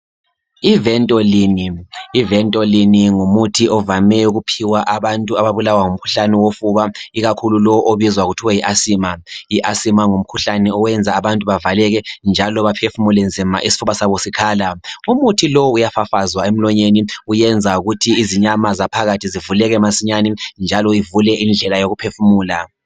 i Ventoline, i ventoline ngumuthi ovame ukuphiwa abantu ababulawa ngumkhuhlane wofuba ikakhulu lowu obizwa kuthiwe yi Asthma i Asthma ngumkhuhlane oyenza abantu bavaleke njalo baphefumule nzima isifuba sabo sikhala umuthi lowu uyafafazwa emlonyeni uyenza ukuthi izinyama zaphakathi zivuleke masinyane njalo ivule indlela yokuphefumula.